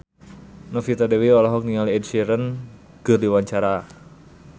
Novita Dewi olohok ningali Ed Sheeran keur diwawancara